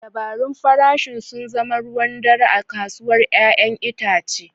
Dabarun farashin sun zama ruwan dare a kasuwar 'ya'yan itace.